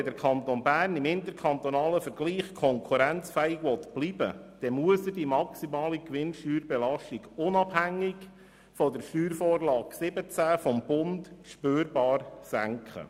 Wenn der Kanton Bern im interkantonalen Vergleich konkurrenzfähig bleiben will, dann muss er die maximale Gewinnsteuerbelastung unabhängig von der Steuervorlage 2017 des Bundes spürbar senken.